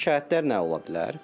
Şikayətlər nə ola bilər?